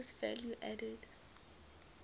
gross value added